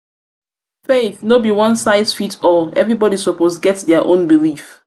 faith no be one-size-fits-all; everybody suppose get dia own belief.